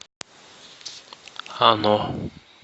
оно